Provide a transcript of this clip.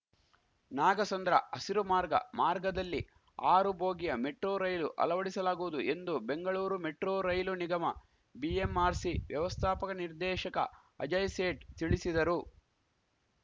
ನಾಗಸಂದ್ರ ಹಸಿರು ಮಾರ್ಗ ಮಾರ್ಗದಲ್ಲಿ ಆರು ಬೋಗಿಯ ಮೆಟ್ರೋ ರೈಲು ಅಲವಡಿಸಲಾಗುವುದು ಎಂದು ಬೆಂಗಳೂರು ಮೆಟ್ರೋ ರೈಲು ನಿಗಮಬಿಎಂಆರ್‌ಸಿ ವ್ಯವಸ್ಥಾಪಕ ನಿರ್ದೇಶಕ ಅಜಯ್‌ ಸೇಠ್‌ ತಿಳಿಸಿದರು